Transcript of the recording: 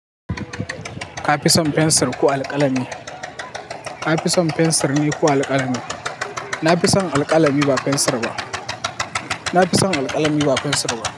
Ka fi son fensir ko alƙalami? Ka fi son fensir ne ko alƙalami? Na fi son alƙalami ba fensir ba. Na fi son alƙalami ba fensir ba.